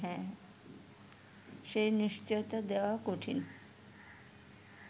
সে নিশ্চয়তা দেওয়া কঠিন